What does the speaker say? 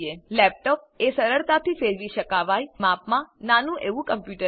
laptop એ સરળતાથી ફેરવી શકાવાય અને માપમાં નાનું એવું કમ્પ્યુટર છે